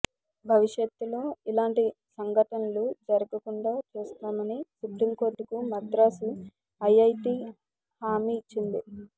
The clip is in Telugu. భవిష్యత్తులో ఇలాంటి సంఘనటలు జరగకుండా చూస్తామని సుప్రీంకోర్టుకు మద్రాస్ ఐఐటి హామీ ఇచ్చింది